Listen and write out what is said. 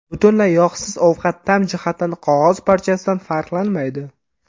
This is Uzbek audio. Butunlay yog‘siz ovqat ta’m jihatdan qog‘oz parchasidan farqlanmaydi.